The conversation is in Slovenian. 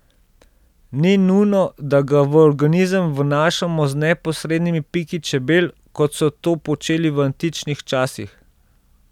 Ni nujno, da ga v organizem vnašamo z neposrednimi piki čebel, kot so to počeli v antičnih časih.